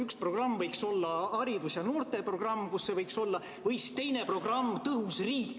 Üks programm võiks olla haridus- ja noorteprogramm või siis teine programm, kus see võiks ka olla, on „Tõhus riik“.